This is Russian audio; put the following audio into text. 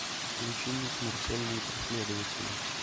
включи мне смертельные преследователи